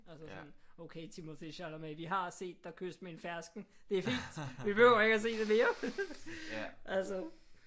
Altså sådan okay Timothée Chalamet vi har set dig kysse med en fersken. Det er fint. Vi behøver ikke at se det mere altså